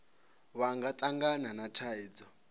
vha nga tangana na thaidzo